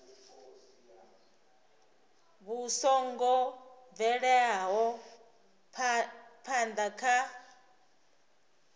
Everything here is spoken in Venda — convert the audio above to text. vhu songo bvelaho phana kha